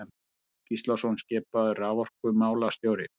Jakob Gíslason skipaður raforkumálastjóri.